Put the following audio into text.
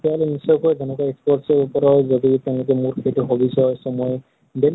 তেতিয়া হলে নিশ্চয় কৈ তেনেকুৱা sports ৰ উপৰত যদি তেওঁলোকে মোৰ যিটো hobbies হয় so মই daily অলপ